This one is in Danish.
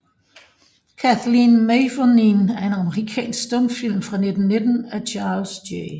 Kathleen Mavourneen er en amerikansk stumfilm fra 1919 af Charles J